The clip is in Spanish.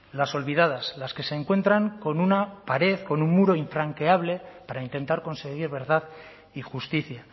las olvidadas las que se encuentran con una pared con un muro infranqueable para intentar conseguir verdad y justicia